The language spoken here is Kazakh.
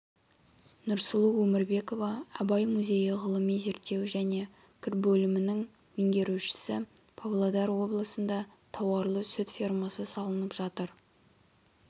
нұрсұлу өмірбекова абай музейі ғылыми зерттеу және қір бөлімінің меңгерушісі павлодар облысында тауарлы-сүт фермасы салынып жатыр